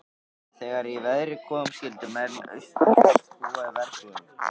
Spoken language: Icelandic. Þegar í verið kom skyldu menn austanfjalls búa í verbúðum.